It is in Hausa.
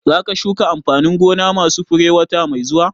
Za ka shuka amfanin gona ma su fure wata mai zuwa?